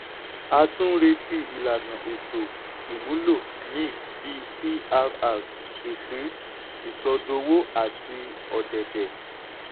a tún ń retí ìlànà ètò-ìmúlò míì bí crr ìpín ìsọdowó àti ọ̀dẹ̀dẹ̀.